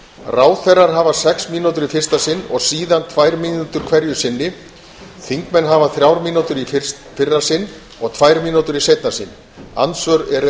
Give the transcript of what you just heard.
ráðherrar hafa sex mínútur í fyrsta sinn og síðan tvær mínútur hverju sinni þingmenn hafa þrjár mínútur í fyrra sinn og tvær mínútur í seinna sinn andsvör eru